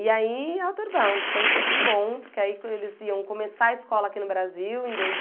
E aí, Outerbound, foi tudo de bom, porque aí quando eles iam começar a escola aqui no Brasil, em dois